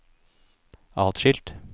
atskilt